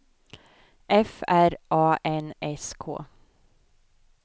F R A N S K